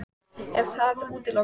Er það útilokað?